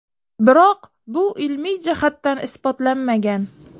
Biroq bu ilmiy jihatdan isbotlanmagan.